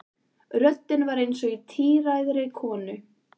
Röddin var eins og í tíræðri konu.